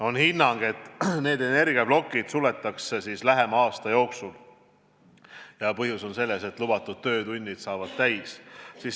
On hinnang, et need energiaplokid suletakse lähema aasta jooksul ja põhjus on selles, et lubatud töötunnid saavad täis.